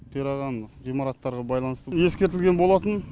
қираған ғимараттарға байланысты ескертілген болатын